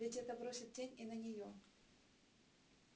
ведь это бросит тень и на нее